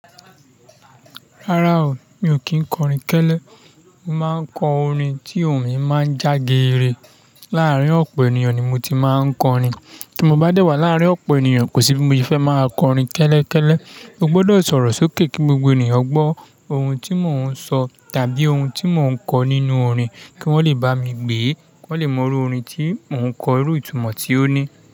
Rárá o, mi ò kí ń kọrin kẹ́lẹ́. Mo máa ń kọ orin tí òun mi máa ń já geere. Láàárín ọ̀pọ̀ ènìyàn ni mo ti máa ń kọrin. Tí mo bá dé wà láàárín ọ̀pọ̀ ènìyàn, kò síbi mo fẹ́ máa kọrin kẹ́lẹ́ kẹ́lẹ́. Mo gbọdọ̀ sọ̀rọ̀ sókè kí gbogbo ènìyàn gbọ́ ohun tí mò ń sọ tàbí ohun tí mò ń kọ nínú orin kí wọ́n lè bá mi gbé, kí wọ́n lè mọ irú orin tí mò ń kọ, irú ìtumọ̀ tí ó ní.